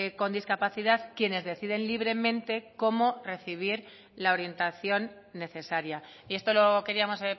con discapacidad quienes deciden libremente cómo recibir la orientación necesaria y esto lo queríamos